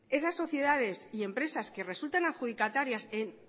esas sociedades y empresas que resultan adjudicatarias en